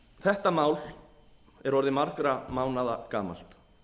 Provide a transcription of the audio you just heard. þetta mál er orðið margra mánaða gamalt